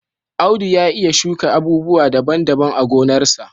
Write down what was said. Audu ya iya shuka abubuwa daban-daban a gonarsa.